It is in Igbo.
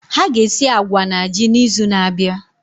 Ha ga esi agwa na ji n'izu na-abịa.